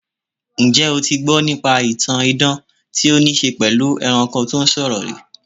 Njẹ́ o ti gbọ́ nípa ìtàn idan tí ó ní í ṣe pẹ̀lú ẹranko tó ń sọ̀rọ̀?